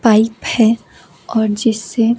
pipe है और जिससे--